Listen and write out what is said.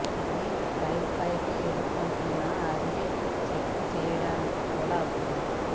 ఇది పైల్ పైకి ఎదుర్కొంటున్న అని చెక్ చేయడానికి కూడా అవసరం